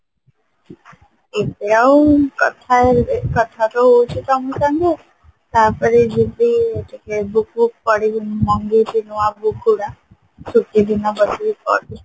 ଏବେ ଆଉ କଥା କଥା ତ ହଉଛି ତମ ସାଙ୍ଗେ ତାପରେ ଯିବି ଟିକେ book ଫୁକ ପଢିବି ମଗେଇଛି ନୂଆ book ଗୁଡା ଛୁଟି ଦିନ ବସିକି ପଢିବି